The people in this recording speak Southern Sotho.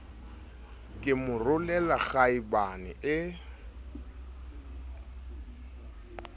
ke mo rolela kgaebane e